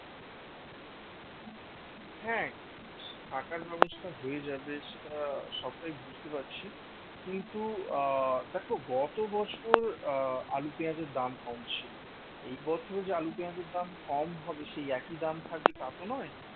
হ্যাঁ থাকার ব্যবস্থা হয়ে যাবে সেটা সবটাই বুঝতে পারছি কিন্তু আহ দেখো গত বছর আহ আলু পেঁয়াজের দাম কম ছিল, এই বছর যে আলু পেঁয়াজের দাম কম হবে সেই একই দাম থাকবে তা তো নয়